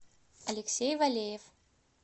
алексей валеев